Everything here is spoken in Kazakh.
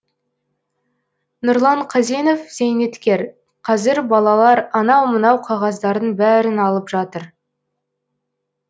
нұрлан қазенов зейнеткер қазір балалар анау мынау қағаздардың бәрін алып жатыр